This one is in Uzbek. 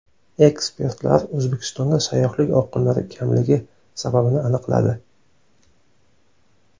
Ekspertlar O‘zbekistonga sayyohlik oqimlari kamligi sababini aniqladi.